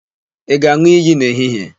Ị ga-an̄ụ iyi n'ehihie?